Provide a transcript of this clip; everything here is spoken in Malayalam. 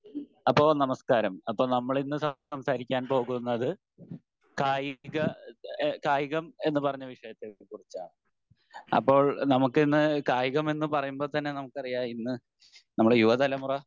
അപ്പോ നമസ്ക്കാരം അപ്പൊ നമ്മളിന്ന് സംസാരിക്കാൻ പോകുന്നത് കായിക എഹ് കായികം എന്ന് പറഞ്ഞ വിഷയത്തെ കുറിച്ചാണ് അപ്പോൾ നമുക്കിന്ന് കായികം എന്ന് പറയുമ്പോൾ തന്നെ നമുക്ക് അറിയാം ഇന്ന് നമ്മുടെ യുവ തലമുറ